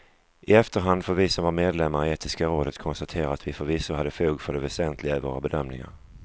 I efterhand får vi som var medlemmar i etiska rådet konstatera att vi förvisso hade fog för det väsentliga i våra bedömningar.